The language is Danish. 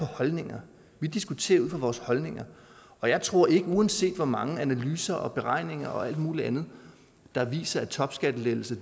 holdninger vi diskuterer ud fra vores holdninger og jeg tror ikke uanset hvor mange analyser og beregninger og alt muligt andet der viser at topskattelettelser